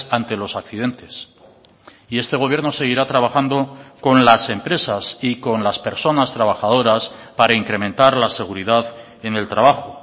ante los accidentes y este gobierno seguirá trabajando con las empresas y con las personas trabajadoras para incrementar la seguridad en el trabajo